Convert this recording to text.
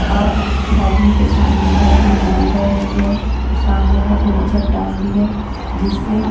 और उस आदमी के सामने बहुत बड़ी नदी बह रही है और सामने बहुत बड़ी चट्टान भी है जिससे--